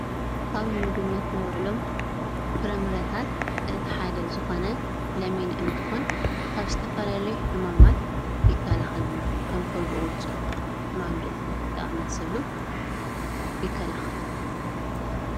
ካብ ን ምግብነት ነዉዕሎም ፍረምረታትእቲ ሓደ ዝኮነ ለሚን እንትኮን ካብ ዝተፈላለዩ ሕማማት ይከላኸለልና ከም ከብዲ ቁርፀት ሕማም ርእሲ ዝኣመሰሉ ይከላኸል።